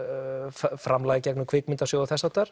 framlag gegnum Kvikmyndasjóð og þess háttar